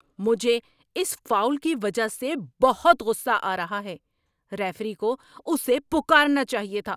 مجھے اس فاؤل کی وجہ سے بہت غصہ آ رہا ہے! ریفری کو اسے پکارنا چاہیے تھا۔